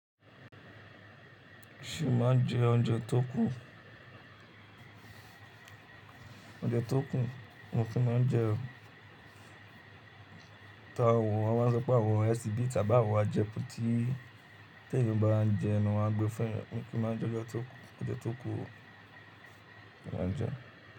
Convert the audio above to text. Ṣo ma jẹ oúnjẹ tó ku? Oúnjẹ tó ku, mi o kí máa n jẹ o, ta awọ wọn máa sọ pé àwọ̀ HBD ká bá àwọ̀ ajẹ pẹ́ tí tí èyí bá n jẹ ẹnu wa gbẹ́ fún ẹ. Mo kí má jẹ oúnjẹ tó kún, oúnjẹ tó kún mo máa ń jẹ.